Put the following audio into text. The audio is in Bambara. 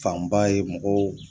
Fanba ye mɔgɔw